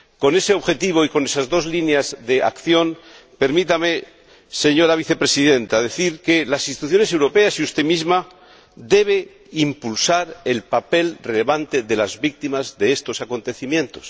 Con ese objetivo y con esas dos líneas de acción, permítame decir, señora Vicepresidenta, que las instituciones europeas y usted misma deben impulsar el papel relevante de las víctimas de estos acontecimientos.